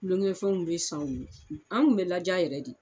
Kulonkɛfɛnw bɛ san u ye, an kun bɛ ladiya yɛrɛ de.